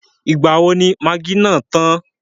Ìgbà wo ni magí náà tàn?